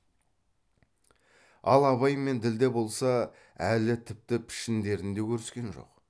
ал абай мен ділдә болса әлі тіпті пішіндерін де көріскен жоқ